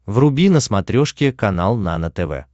вруби на смотрешке канал нано тв